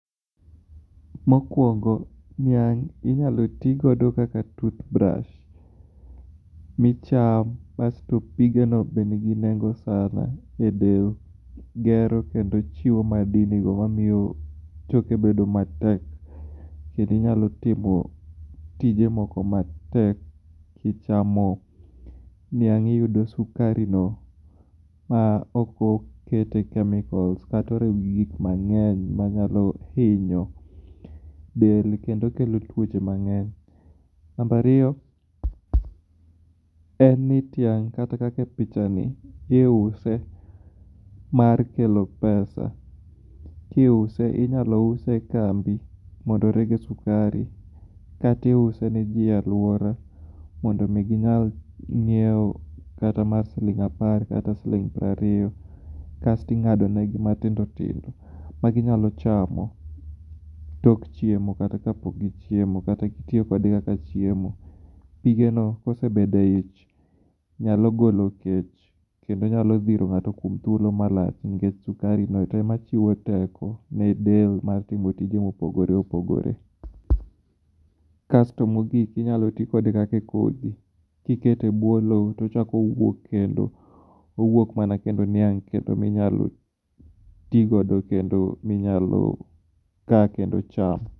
Mokuongo, niang' inyalo tigodo kaka toothbrush micham asto pige no be ningi nengo sana e del, gero kendo chiwo mamiyo choke bedo matek, kendo inyalo timo tije moko matek kichamo niang' iyudo sukari no ma ok okete chemicals kata oriw gi gik mangeny ma nyalo hinyo del kendo kelo tuoche mang'eny. Number ariyo en ni tiang' kata kaka e picha ni iuse mar kelo pesa. Kiuse inyalo use e kambi mondo rege sukari kata iuse ne jii e alwora mondo mi ginyal nyiewo kata mara siling apar kata siling piero ariyo kasto ing'ado negi matindo tindo ma ginyalo chamo tok chiemo kata ka pok gichiemo kata itiyo kode kaka chiemo. Pige no, kosebedo e ich nyalo golo kech, kendo nyalo dhiro ng'ato kuom thuolo malach nikech sukari no e ma chiwo teko ne del mar timo tije mopogore opogore. Kasto mogik, inyalo ti kode kaka e kodhi. Kiketo e bwo loo tochak owuok kendo, owuok mana kendo niang' kendo minyalo tii godo kendo minyalo kaa kendo cham.